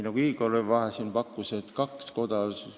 Igor siin pakkus, et olgu kaks koda.